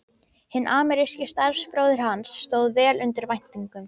Hinn ameríski starfsbróðir hans stóð vel undir væntingum.